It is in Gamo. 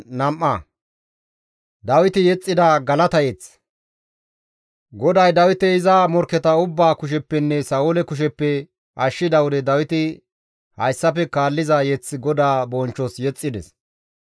GODAY Dawite iza morkketa ubbaa kusheppenne Sa7oole kusheppe ashshida wode Dawiti hayssafe kaalliza mazamure GODAA bonchchos yexxides;